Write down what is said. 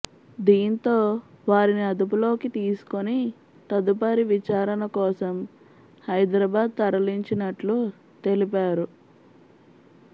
దీంతో వారిని అదుపులోకి తీసుకొని తదుపరి విచారణ కోసం హైదరాబాద్ తరలించినట్లు తెలిపారు